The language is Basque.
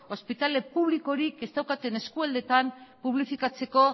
ospitale publikorik ez daukaten eskualdetan publifikatzeko